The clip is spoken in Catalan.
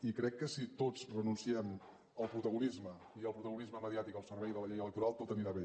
i crec que si tots renunciem al protagonisme i al protagonisme mediàtic al servei de la llei electoral tot anirà bé